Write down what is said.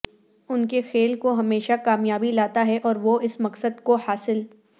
ان کے کھیل کو ہمیشہ کامیابی لاتا ہے اور وہ اس مقصد کو حاصل